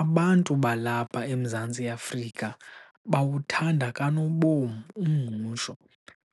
Abantu balapha eMzantsi Afrika bawuthanda kanobom umngqusho